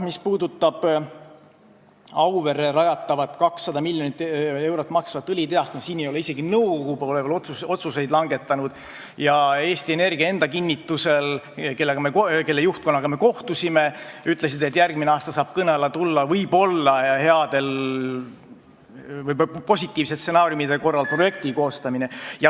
Mis puudutab Auverre rajatavat, 200 miljonit eurot maksvat õlitehast, siis siin ei ole isegi nõukogu veel otsuseid langetanud ja Eesti Energia enda kinnitusel, kelle juhtkonnaga me kohtusime, võib järgmisel aastal positiivsete stsenaariumide korral kõne alla tulla projekti koostamine.